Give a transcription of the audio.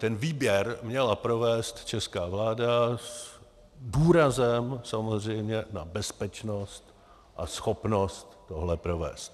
Ten výběr měla provést česká vláda s důrazem samozřejmě na bezpečnost a schopnost tohle provést.